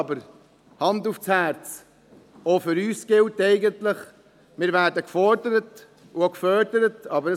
Aber, Hand aufs Herz, auch für uns gilt eigentlich, dass wir gefordert und auch gefördert werden.